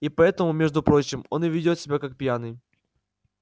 и поэтому между прочим он и ведёт себя как пьяный